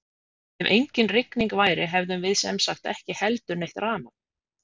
Ef engin rigning væru hefðum við sem sagt ekki heldur neitt rafmagn!